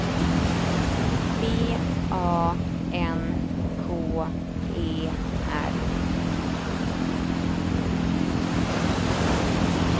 B A N K E R